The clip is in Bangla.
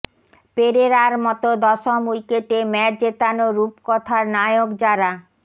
পেরেরার মতো দশম উইকেটে ম্যাচ জেতানো রূপকথার নায়ক যারা